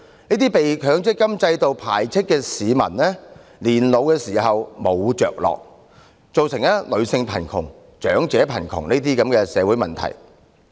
這些被強積金制度排斥的市民老無所依，造成女性貧窮和長者貧窮等社會問題。